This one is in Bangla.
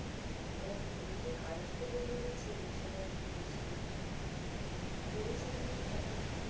এবং উনিতো কায়েস্ত পরিবারেব ছিলেন। সেটা আর কি বেশি আমি মানি পড়েছিলাম যখন তখন